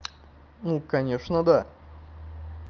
ну конечно да